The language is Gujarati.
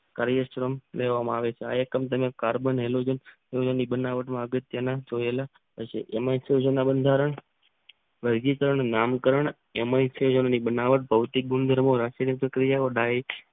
લેવામાં આવે છે. આ એકમ તેને કાર્બન બનાવટમાં જોયેલા જેમાં બંધારણ વૈગિકરણ નામ કારણ એમિથિયક બનાવટ ભૌતિક ગુણધર્મો રાષ્ટ્રીય પ્રક્રિયા ઓ ડાયટ